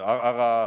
Aitäh!